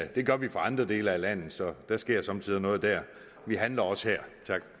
det gør vi i andre dele af landet så der sker somme tider noget der vi handler også her